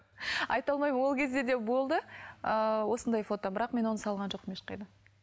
айта алмаймын ол кезде де болды ыыы осындай фото бірақ мен оны салған жоқпын ешқайда